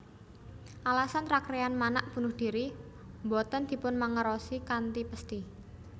Alasan Rakryan Manak bunuh diri boten dipunmangerosi kanthi pesthi